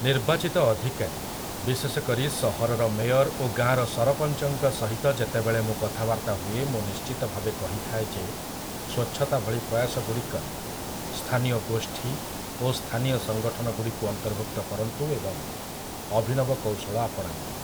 ନିର୍ବାଚିତ ଅଧିକାରୀ, ବିଶେଷକରି ସହରର ମେୟର୍ ଓ ଗାଁର ସରପଂଚଙ୍କ ସହିତ ଯେତେବେଳେ ମୁଁ କଥାବାର୍ତ୍ତା ହୁଏ, ମୁଁ ନିଶ୍ଚିତଭାବେ କହିଥାଏ ଯେ ସ୍ୱଚ୍ଛତା ଭଳି ପ୍ରୟାସଗୁଡ଼ିକରେ ସ୍ଥାନୀୟ ଗୋଷ୍ଠୀ ଓ ସ୍ଥାନୀୟ ସଂଗଠନଗୁଡ଼ିକୁ ଅନ୍ତର୍ଭୁକ୍ତ କରନ୍ତୁ ଏବଂ ଅଭିନବ କୌଶଳ ଆପଣାନ୍ତୁ ।